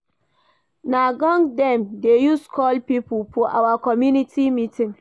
Na gong dem dey use call pipo for our community meeting.